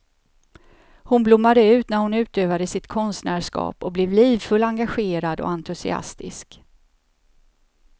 Hon blommade ut när hon utövade sitt konstnärskap och blev livfull, engagerad och entusiastisk.